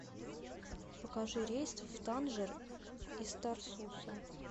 покажи рейс в танжер из тарсуса